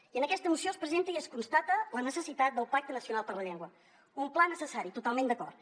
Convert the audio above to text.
i en aquesta moció es presenta i es constata la necessitat del pacte nacional per la llengua un pla necessari totalment d’acord